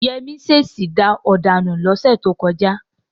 Yẹmí ṣèṣì da ọ̀dà nù lọ́sẹ̀ tó kọjá.